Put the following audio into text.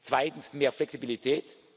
an. Zweitens mehr Flexibilität.